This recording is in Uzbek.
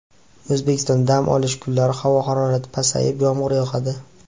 O‘zbekistonda dam olish kunlari havo harorati pasayib, yomg‘ir yog‘adi.